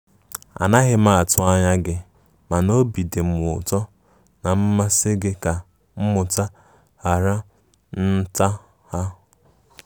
A naghi m atụ anya gi mana obi dim ụtọ na mmasị gi ka mmụta hara nhatanha.